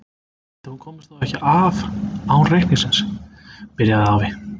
Ætli hún komist þá ekki af án reikningsins. byrjaði afi.